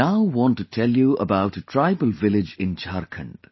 I now want to tell you about a tribal village in Jharkhand